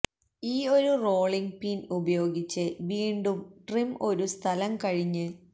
ഈ ഒരു rolling pin ഉപയോഗിച്ച് വീണ്ടും ട്രിം ഒരു സ്ഥലം കഴിഞ്ഞ്